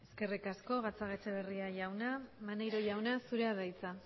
eskerrik asko gatzagaetxebarria jauna maneiro jauna zurea da hitza